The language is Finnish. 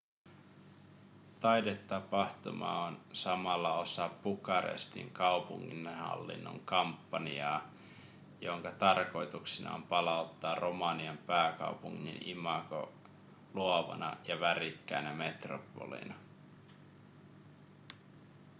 taidetapahtuma on samalla osa bukarestin kaupunginhallinnon kampanjaa jonka tarkoituksena on palauttaa romanian pääkaupungin imago luovana ja värikkäänä metropolina